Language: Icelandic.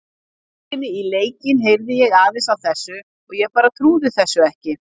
Á leiðinni í leikinn heyrði ég aðeins af þessu og ég bara trúði þessu ekki.